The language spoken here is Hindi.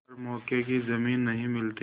पर मौके की जमीन नहीं मिलती